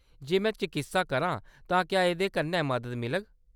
जे में चकित्सा करांऽ तां क्या एह्‌‌‌दे कन्नै मदद मिलग ?